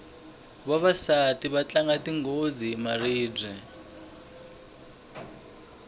vavasati va tlanga tingedzo hi maribye